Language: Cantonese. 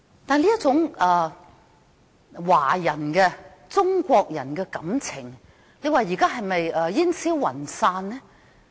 這一種中國人的感情現在是不是煙消雲散呢？